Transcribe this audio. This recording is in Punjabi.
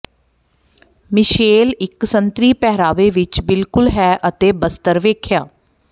ਮਿਸ਼ੇਲ ਇੱਕ ਸੰਤਰੀ ਪਹਿਰਾਵੇ ਵਿਚ ਬਿਲਕੁਲ ਹੈ ਅਤੇ ਬਸਤਰ ਵੇਖਿਆ